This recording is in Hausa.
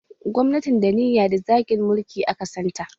Gwamnatin danniya da zagin mulki aka santa